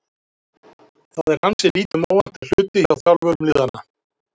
Það er ansi lítið um óvænta hluti hjá þjálfurum liðanna.